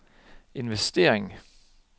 investering